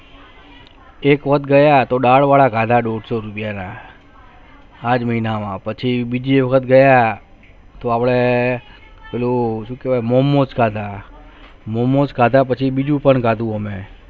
એક વક્ત ગયા તો દાળ વાળા ખાવા દો સો રૂપિયા માં પાંચ મહિના હુઆ પછી મીઠી હોય ગયા તો અપને Momos ખાદા Momos ખાદા બધી ખીચું પણ ખાદુ મેં